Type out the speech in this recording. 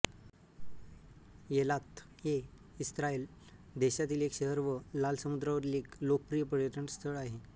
Eilat हे Israel देशातील एक शहर व लाल समुद्रावरील एक लोकप्रिय पर्यटनस्थळ आहे